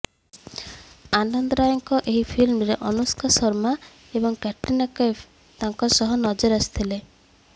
ଆନନ୍ଦ ରୟଙ୍କ ଏହି ଫିଲ୍ମରେ ଅନୁଷ୍କା ଶର୍ମା ଏବଂ କ୍ୟାଟ୍ରିନା କୈଫ୍ ତାଙ୍କ ସହ ନଜର ଆସିଥିଲେ